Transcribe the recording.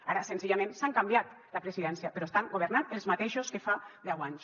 ara senzillament s’han canviat la presidència però estan governant els mateixos que fa deu anys